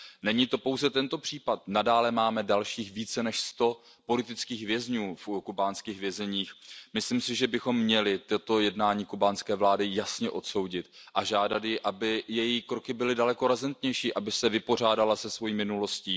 Není to pouze tento případ, nadále máme dalších více než sto politických vězňů v kubánských vězeních. Myslím si, že bychom měli toto jednání kubánské vlády jasně odsoudit a žádat ji, aby její kroky byly daleko razantnější, aby se vypořádala se svou minulostí.